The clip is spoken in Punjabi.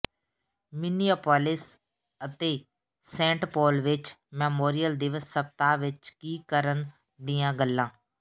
ਮਿਨੀਐਪੋਲਿਸ ਅਤੇ ਸੇਂਟ ਪੌਲ ਵਿਚ ਮੈਮੋਰੀਅਲ ਦਿਵਸ ਸਪਤਾਹ ਵਿਚ ਕੀ ਕਰਨ ਦੀਆਂ ਗੱਲਾਂ